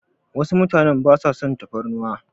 Wasu mutanen basa son tafarnuwa.